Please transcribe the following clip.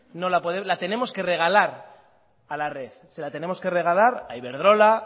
la tenemos que regalar a la red se la tenemos que regalar a iberdrola